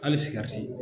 Hali sigɛriti